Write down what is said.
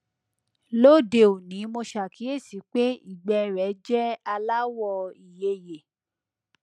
lóde òní mo ṣàkíyèsí pé ìgbẹ rẹ jẹ aláwọ ìyeyè